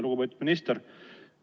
Lugupeetud minister!